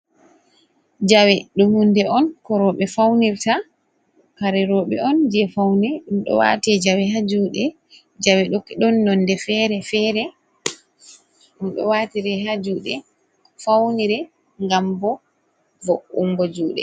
Jawe ɗum hunde on ko rooɓe faunirta. Kare roɓe on, je faune. Ɗum ɗo waate jawe haa juuɗe. Jawe ɗon nonde feere-feere. Ɗum ɗo waatire haa juuɗe faunire, ngam bo vo’ungo juuɗe.